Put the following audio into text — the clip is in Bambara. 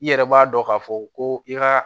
I yɛrɛ b'a dɔn k'a fɔ ko i ka